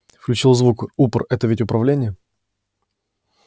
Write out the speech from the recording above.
включил звук упр это ведь управление